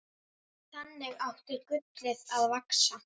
Þannig átti gullið að vaxa.